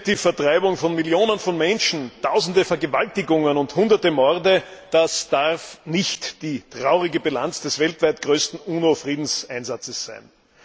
Herr Präsident! Die Vertreibung von Millionen von Menschen, Tausende Vergewaltigungen und Hunderte Morde, das darf nicht die traurige Bilanz des weltweit größten UNO Friedenseinsatzes sein.